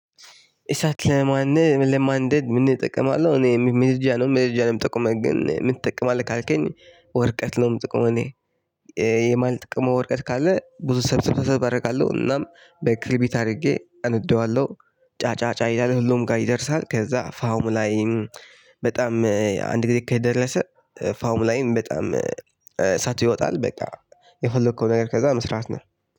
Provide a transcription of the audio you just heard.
እሳት ለማን ለማንደድ ምን እጠቀማለሁ እኔ መርጃ ነው መርጃ ነው የምጠቀመው ግን ምን ትጠቀማለህ ካልከኝ? ወረቀት ነው የምጠቀመው እኔ። የማልጠቀመው ወረቀት ካለ ብዙ ሰብስብ አደርጋለሁ እናም በክብሪት አድርጌ እነደዋለሁ። ጫጫጫ እያለ ሁሉም ጋር ይደርሳል ከዛ ፍሙ ላይም በጣም አንድ ላይ ከደረሰ ፍሙ ላይም በጣም እሳቱ ይወጣል። በቃ የፈለከውን አይነት ከዛ መስራት ነው